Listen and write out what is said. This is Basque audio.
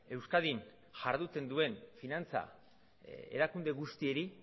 euskadin jarduten duen finantza erakunde guztiei